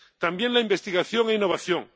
también, la investigación e innovación